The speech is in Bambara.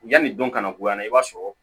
Yanni dɔn ka na bonya i b'a sɔrɔ